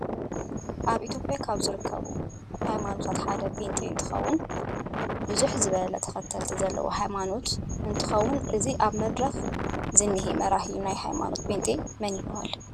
አብ ኢትዮጲያ ካብ ዝርከቡ ሃይማኖታት ሓደ ፕንጤ እንትኮን ብዝሕ ዝበሉ ተከተልቲ ዘለዎ ሃይማኖት እንትክን እዚ አብ መድረክ ዝኒሄ መራሒ ናይ ሃይማኖት ፕንጤ መን ይበሃል?